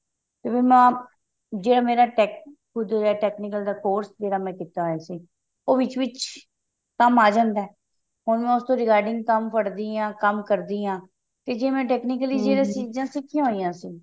ਤੇ ਉਹਦੇ ਨਾਲ ਜੇ ਮੇਰਾ tech technical ਦਾ course ਜਿਹੜਾ ਮੈਂ ਕੀਤਾ ਹੋਇਆ ਸੀ ਉਹ ਵਿੱਚ ਵਿੱਚ ਕੰਮ ਆ ਜਾਂਦਾ ਹੁਣ ਮੈਂ ਉਸਤੋਂ regarding ਕੰਮ ਫੜ ਦੀ ਹਾਂ ਕੰਮ ਕਰਦੀ ਹਾਂ ਤੇ ਮੈਂ technically ਸਿਖੀਆਂ ਹੋਈਆਂ ਸੀ